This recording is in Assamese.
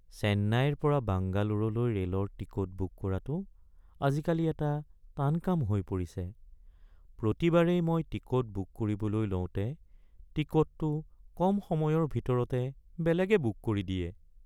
চেন্নাইৰ পৰা বাংগালোৰলৈ ৰে'লৰ টিকট বুক কৰাটো আজিকালি এটা টান কাম হৈ পৰিছে। প্ৰতিবাৰেই মই টিকট বুক কৰিবলৈ লওঁতে টিকটটো কম সময়ৰ ভিতৰতে বেলেগে বুক কৰি দিয়ে।